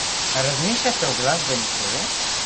Razmišljate o glasbeni šoli?